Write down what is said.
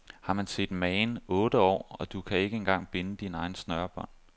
Har man set magen, otte år, og du kan ikke engang binde dine egne snørebånd.